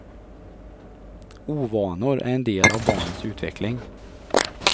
Ovanor är en del av barnets utveckling.